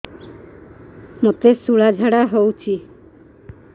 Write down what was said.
ମୋତେ ଶୂଳା ଝାଡ଼ା ହଉଚି